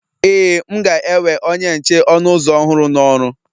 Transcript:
Ee, m ga-ewe onye nche ọnụ ụzọ ọhụrụ n'ọrụ